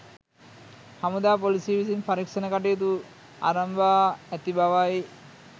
හමුදා පොලිසිය විසින් පරීක්ෂණ කටයුතු අරඹා ඇති බවයි.